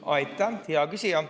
Aitäh, hea küsija!